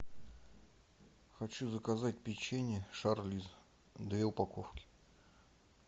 хочу заказать печенье шарлиз две упаковки